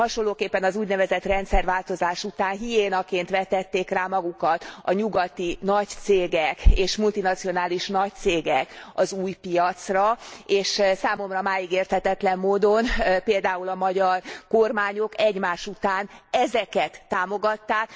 Hasonlóképpen, az úgynevezett rendszerváltozás után hiénaként vetették rá magukat a nyugati nagy cégek és multinacionális nagy cégek az új piacra, és számomra máig érthetetlen módon például a magyar kormányok egymás után ezeket támogatták.